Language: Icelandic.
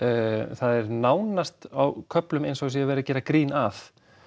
það er nánast á köflum eins og það sé verið að gera grín að